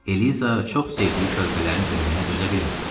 Eliza çox sevdiyi körpələrin ölümünə dözə bilmirdi.